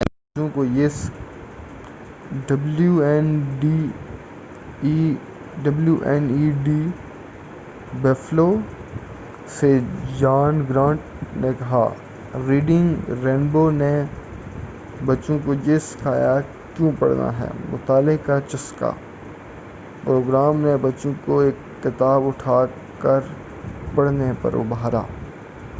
W N E D Buffalo Reading Rainbow کا گھریلو station سے جان گرانٹ نے کہا: ”ریڈنگ رینبو نے بچوں کو یہ سکھایا کہ کیوں پڑھنا ہے ۔۔۔ مطالعے کا چسکا ۔۔۔ [پروگرام] نے بچوں کو ایک کتاب اٹھاکر پڑھنے پر ابھارا۔